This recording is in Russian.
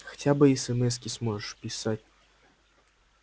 хотя бы эсэмэски сможешь писать